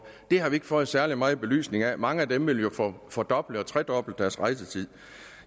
det har vi ikke fået særlig meget belysning af mange af dem vil jo få fordoblet eller tredoblet deres rejsetid